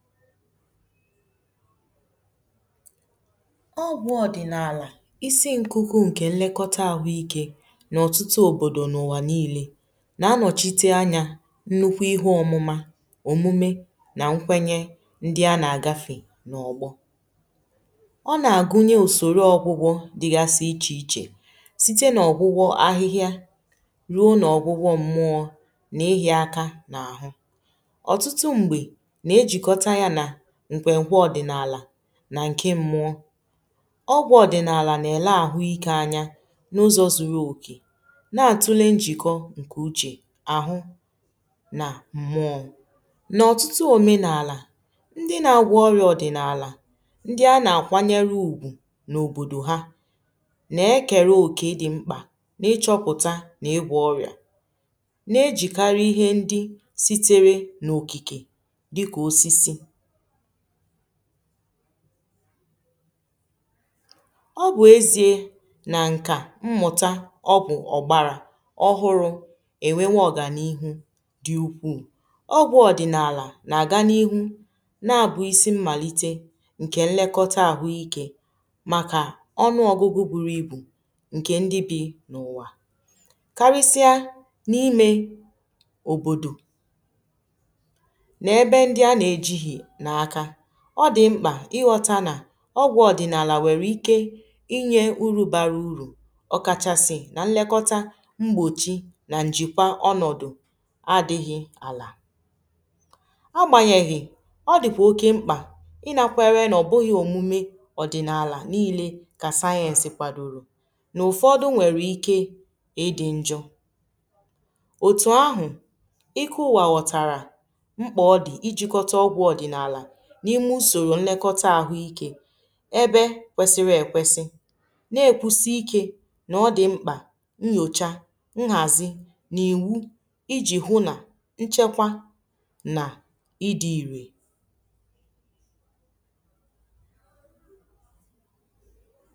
ọgwụ ọdịnala isi nkuku nke nlekọta ahụike na ọtụtụ obodo n’ụwa niile na-anọchite anya nnukwu ihe ọmụma omume na nkwenye ndị a na-agafe n’ọgbọ ọ na-agụnye usoro ọgwụgwọ dịgasị iche iche site na ọgwụgwọ ahịhịa ruo na ọgwụgwọ mmụọ na-ehì aka n’ahụ otutu mgbe na ejikota ya na nkwekwe odinala nà ǹke mmụọ ọgwọ̇ ọ̀dị̀nààlà nà-èla àhụ ike anya n’ụzọ̇ zuru òkè na-àtule njìkọ ǹkè uchè àhụ nà m̀mụọ̇ nà ọ̀tụtụ òmenààlà ndị nà-agwọ̇ ọrịȧ ọ̀dị̀nààlà ndị a nà-àkwanyere ùgwù n’òbòdò ha nà-ekere òkè ị dị̀ mkpà nà ịchọ̇pụ̀ta nà-ịgwọ̇ ọrịà na-ejìkarị̀ ihe ndi sitere n’òkìkè dika osisi ọ bụ ezie na nka mmụta ọgwu ọgbara ọhụrụ enwewo ọga n’ihu dị ukwuu ọgwụ odinala na-aga n’ihu na-abụ isi mmalite nke nlekọta ahụike maka ọnụ ọgụgụ buru ibu nke ndị bi n’ụwa karịsịa na-ime òbòdò na ebe ndi a na eji gi na aka ọ dị mkpà ịghọtà nà ọgwọ̀ ọdịnaalà nwere ike inye uru barà uru ọkachasị̀ na nlekọtà mgbochì nà njikwà ọnọdụ̀ adị̀ghị̀ alà agbanyeghì ọ dị̀kwà oke mkpà ịna kwere nà ọ bụghị̀ omume ọdịnaalà niile ka sayensị̀ kwadoro n’ụfọdụ̀ nwere ike ịdị̀ njọ̀ otù ahụ̀ ike ụwà ghọ̀tàrà mkpa odi ijikota ogwu odinala na ime nsoro nlokota ahu ike ebe kwesịrị ekwesị na-ekwusi ikė na ọ dị mkpà nnyocha nhazi n’iwu iji hụ na nchekwa na ịdị irè